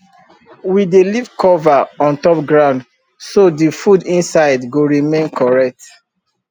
we dey leave cover on top ground so the food inside go remain correct